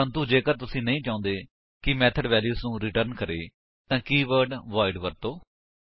ਪ੍ਰੰਤੂ ਜੇਕਰ ਤੁਸੀ ਨਹੀਂ ਚਾਹੁੰਦੇ ਕਿ ਮੇਥਡ ਵੈਲਿਊ ਨੂੰ ਰਿਟਰਨ ਕਰੇ ਤਾਂ ਕੀਵਰਡ ਵੋਇਡ ਵਰਤੋ